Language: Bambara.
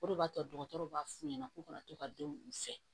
O de b'a to dɔgɔtɔrɔw b'a f'u ɲɛna k'u ka na to ka denw u fɛ